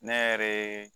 Ne yɛrɛ ye